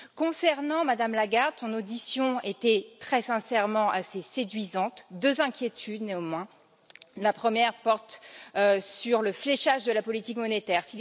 Concernant Mme Lagarde, son audition était très sincèrement assez séduisante. Deux inquiétudes néanmoins. La première porte sur le fléchage de la politique monétaire.